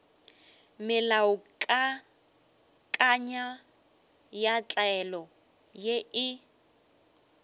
melaokakanywa ya tlwaelo ye e